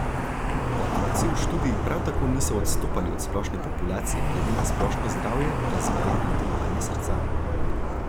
Otroci v študiji prav tako niso odstopali od splošne populacije glede na splošno zdravje, razvoj in delovanje srca.